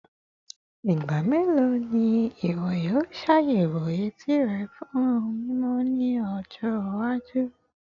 Igba melo ni iwọ yoo ṣayẹwo eti rẹ fun mimọ ni ọjọ iwaju?